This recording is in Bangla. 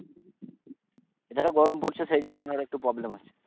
এখানে গরম পড়ছে সেই জন্য এখানে একটু problem আছে